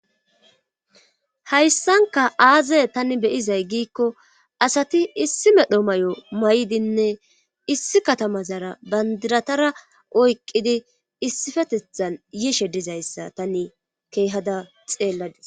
hayssanka aazay tani beyizay giikko asati issi medho may7o may7dinne issi katama zara bandiratara oyqidi issifetethan yiishe dizayssa tani keehada xeelladis